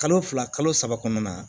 Kalo fila kalo saba kɔnɔna na